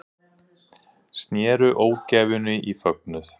Snéru ógæfunni í fögnuð